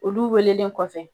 Olu welelen kɔfɛ